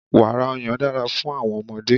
Wàrà ọyàn dára fún àwọn ọmọdé.